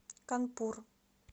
канпур